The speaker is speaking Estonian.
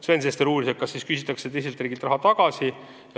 Sven Sester uuris, kas siis küsitakse teiselt riigilt raha tagasi.